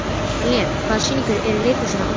Daniel, hvaða sýningar eru í leikhúsinu á mánudaginn?